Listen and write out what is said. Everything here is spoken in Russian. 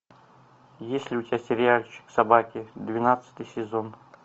есть ли у тебя сериальчик собаки двенадцатый сезон